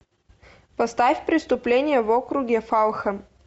поставь преступление в округе фалхэм